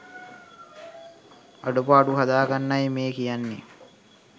අඩුපාඩු හදාගන්නයි මේ කියන්නේ.